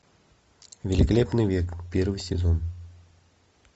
великолепный век первый сезон